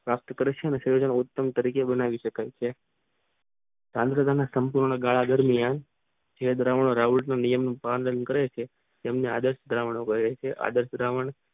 પ્રાપ્ત કરે છે અને નરોત્તમ તરજો બનાવે શકાય આંદ્ર ના સંપૂર્ણ ગાળા દરમિયાન જે દ્રાવણો વાયુને નિયમિક પાંદાન કરે છે તેમને અડસ દ્રાવણો